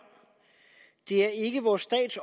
det er ikke vor stats